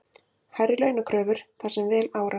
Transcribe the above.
Hærri launakröfur þar sem vel árar